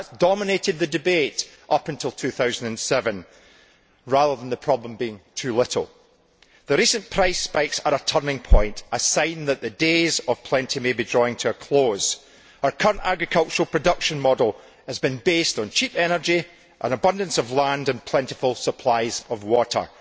That dominated the debate up until 2007, rather than the problem being too little. The recent price spikes are a turning point, a sign that the days of plenty may be drawing to a close. Our current agricultural production model has been based on cheap energy, an abundance of land and plentiful supplies of water.